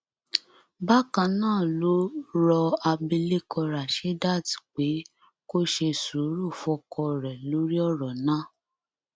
bákan náà ló rọ abilékọ rashdit pé kó ṣe sùúrù fọkọ rẹ lórí ọrọ náà